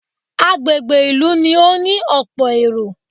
Agbègbè ìlú ni ó ní ọ̀pọ̀ èrò